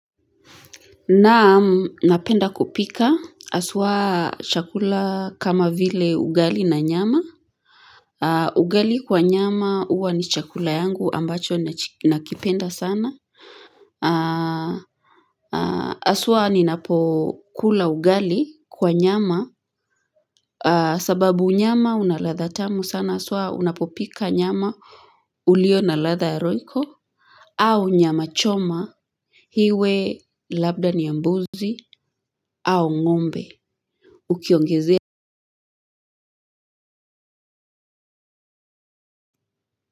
Naam, napenda kupika haswa chakula kama vile ugali na nyama. Ugali kwa nyama huwa ni chakula yangu ambacho nakipenda sana. Hasa ninapokula ugali kwa nyama, sababu nyama ina ladha tamu sana, hasa unapopika nyama iliyo na ladha ya ryoco. Au nyama choma iwe labda ni ya mbuzi au ng'ombe. Ukiongezea.